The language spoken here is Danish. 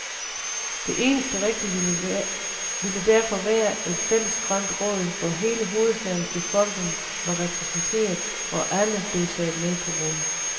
Det eneste rigtige ville derfor være et fælles grønt råd, hvor hele hovedstadens befolkning var repræsenteret, og alle blev taget med på råd.